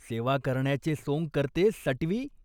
सेवा करण्याचे सोंग करते सटवी.